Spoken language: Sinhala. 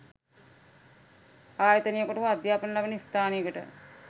ආයතනයකට හෝ අධ්‍යාපන ලබන ස්ථානයකට